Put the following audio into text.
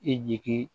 E jigi